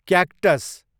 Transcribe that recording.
cactus